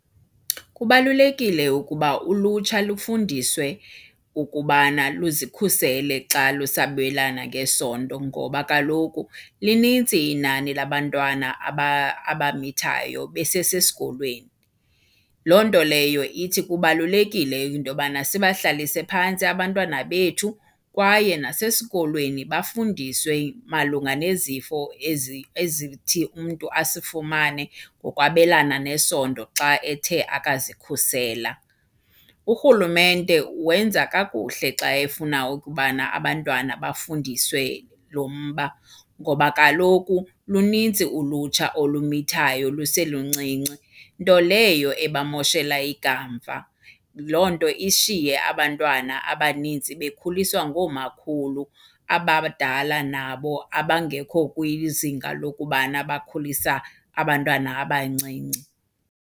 Kubalulekile ukuba ulutsha lufundiswe ukubana luzikhusele xa lusabelana ngesondo ngoba kaloku linintsi inani labantwana abamithayo besesesikolweni. Loo nto leyo ithi kubalulekile into yobana sibahlalise phantsi abantwana bethu kwaye nasesikolweni bafundiswe malunga nezifo ezithi umntu asifumane ngokwabelana nesondo xa ethe akazikhusela. Urhulumente wenza kakuhle xa efuna ukubana abantwana bafundiswe lo mba, ngoba kaloku luninzi ulutsha olimithayo luseluncinci, nto leyo ebamoshela ikamva. Loo nto ishiye abantwana abanintsi bekhuliswa ngoomakhulu abadala nabo abangekho kwizinga lokubana bakhulisa abantwana abancinci.